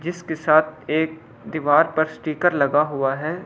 जिसके साथ एक दीवार पर स्टीकर लगा हुआ है।